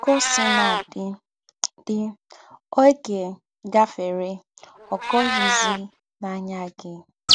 Kà ọ́ sínà dị́, dị́, ọ́gẹ́ gáfèrè, ọ́ gọ̀zị̀ghị́ n’áyá gị̀.